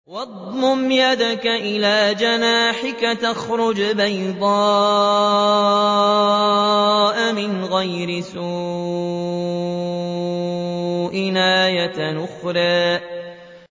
وَاضْمُمْ يَدَكَ إِلَىٰ جَنَاحِكَ تَخْرُجْ بَيْضَاءَ مِنْ غَيْرِ سُوءٍ آيَةً أُخْرَىٰ